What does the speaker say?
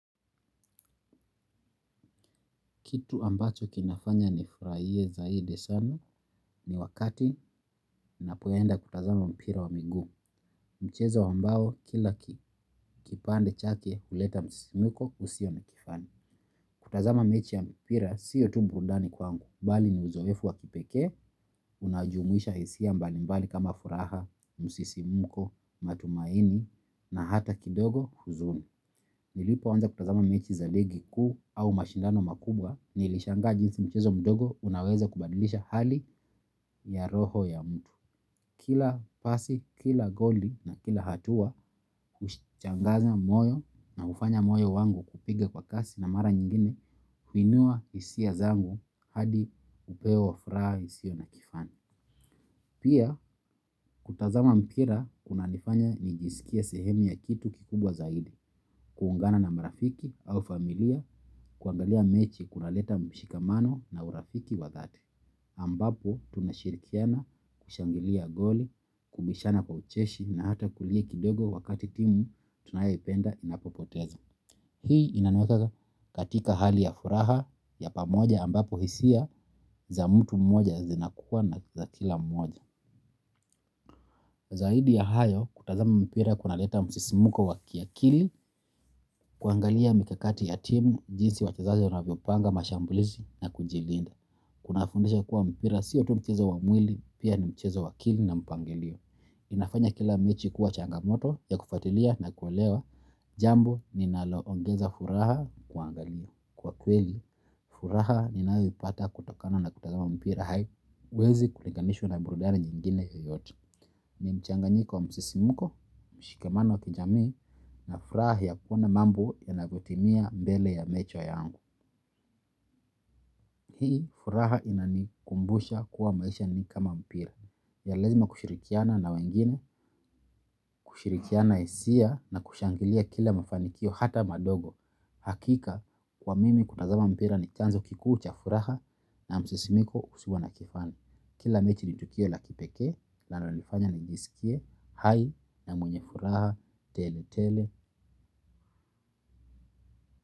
Kitu ambacho kinafanya ni furahie zaidi sana ni wakati ninapoenda kutazama mpira wa miguu. Mchezo ambao kila kipande chake uleta msimmuko usio na kifani. Kutazama mechi ya mpira siyo tu burundani kwanguumbali ni uzoefu wakipekre, unajumuisha hisia mbalimbali kama furaha, msisimmuko, matumaini na hata kidogo huzuni. Nilipo wanza kutazama mechi za ligi kuu au mashindano makubwa nilishangaa jinzi mchezo mdogo unaweza kubadilisha hali ya roho ya mtu. Kila pasi, kila goli na kila hatua huchangaza moyo na ufanya moyo wangu kupiga kwa kasi na mara nyingine kuinua hisia zangu hadi upewa furaha hisio na kifani. Pia, kutazama mpira kuna nifanya nijisikie sehemu ya kitu kikubwa zaidi, kuungana na marafiki au familia, kuangalia mechi kuna leta mshikamano na urafiki wa dhati. Ambapo tunashirikiana kushangilia goli kimbishana kwa ucheshi na hata kulia kidogo wakati timu tunayoipenda inapopoteza. Hii inaniweka katika hali ya furaha ya pamoja ambapo hisia za mtu mmoja zinakuwa na za kila mmoja. Zaidi ya hayo kutazama mpira kuna leta msisimuko wa kiakili kuangalia mikakati ya timu jinsi wachezaji wavyopanga mashambulizi na kujilinda. Kuna fundisha kuwa mpira siyo tu mchezo wa mwili pia ni mchezo wa akili na mpangilio. Inafanya kila mechi kuwa changamoto ya kufuatilia na kuelewa jambo linaloongeza furaha kuangalia. Kwa kweli, furaha ninayoipata kutokana na kutazama mpira haiwezi kuliganishu na burudani nyingine yoyote. Ni mchanganyiko wa msisimuko, mshikamano wa kijamii, na furaha ya kuona mambo yanavyotimia mbele ya macho yangu. Hii furaha inanikumbusha kuwa maisha ni kama mpira. Ya lazima kushirikiana na wengine, kushirikiana hisia na kushangilia kila mafanikio hata madogo. Hakika kwa mimi kutazama mpira ni chanzo kikuu cha furaha na msisimko usio na kifani. Kila mechi ni tukio la kipekee nalonifanya nijisikie hai na mwenye furaha tele tele.